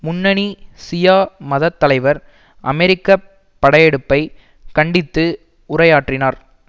முன்னணி சியா மதத் தலைவர் அமெரிக்க படையெடுப்பை கண்டித்து உரையாற்றினார்